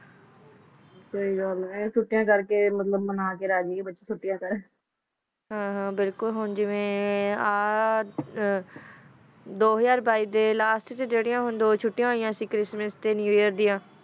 ਸਹੀ ਗਲ ਆ ਓਹੋ ਸੋਟਿਆ ਕਰ ਕਾ ਗਲ ਆ ਮਤਲਬ ਹਨ ਹਨ ਬਿਲਕੁਲ ਜੀਵਾ ਏਹਾ ਦੋ ਹਜ਼ਾਰ ਬਹਿ ਦਾ ਲਾਸ੍ਟ ਚ ਦੋ ਛੋਟਿਆ ਹੋਇਆ ਸੀ ਚ੍ਰਿਸ੍ਮਿਸ ਦਯਾ ਤਾ ਨ੍ਯੂ ਏਅਰ ਦਯਾ